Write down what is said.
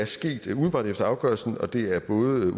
skete umiddelbart efter afgørelsen og det er både